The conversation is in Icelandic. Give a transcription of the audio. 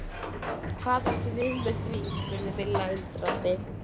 Hvað áttu við með því? spurði Milla undrandi?